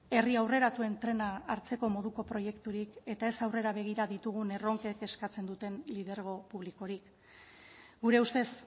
herri aurreratuen trena hartzeko moduko proiekturik eta ez aurrera begira ditugun erronkek eskatzen duten lidergo publikorik gure ustez